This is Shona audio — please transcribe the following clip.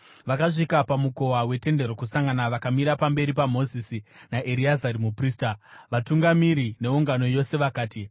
Vakasvika pamukova weTende Rokusangana vakamira pamberi paMozisi, naEreazari muprista, vatungamiri, neungano yose, vakati,